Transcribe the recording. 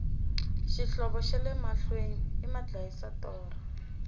xihlovo xale mahlwei i madyisa torha